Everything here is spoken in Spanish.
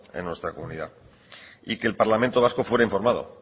en nuestra comunidad y que el parlamento vasco fuera informado